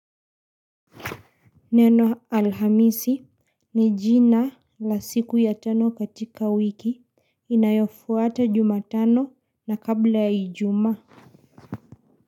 Neno Alhamisi ni jina, la siku ya tano katika wiki, inayofuata Jumatano na kabla ya Ijumaa.